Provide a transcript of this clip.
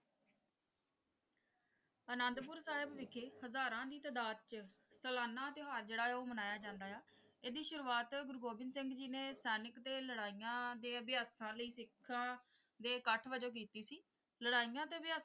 ਆਨੰਦਪੁਰ ਸਾਹਿਬ ਵਿਖੇ ਹਜ਼ਾਰਾਂ ਦੀ ਤਦਾਦ ਵਿੱਚ ਸਲਾਨਾ ਤਿਉਹਾਰ ਜਿਹੜਾ ਜੋ ਹੈ ਮਨਾਇਆ ਜਾਂਦਾ ਹੈ ਇਸਦੀ ਸ਼ੁਰੂਆਤ ਗੁਰੂ ਗੋਬਿੰਦ ਸਿੰਘ ਜੀ ਨੇ ਸੈਨਿਕ ਤੇ ਲੜਾਈਆਂ ਦੇ ਅਭਿਅਸਾਂ ਲਈ ਸਿੱਖਾਂ ਦੇ ਇੱਕਠ ਵਜੋਂ ਕੀਤੀ ਸੀ ਲੜਾਈਆਂ ਤੇ ਅਭਿਅਸਾਂ,